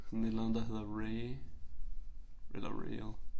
Sådan et eller andet der hedder RAI eller RAIL